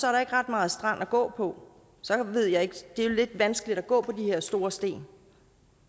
er der ikke ret meget strand at gå på det er jo lidt vanskeligt at gå på de her store sten